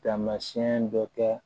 Tamasiyɛn dɔ kɛ